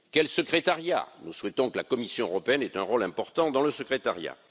Quel secrétariat? Nous souhaitons que la Commission européenne ait un rôle important dans le secrétariat.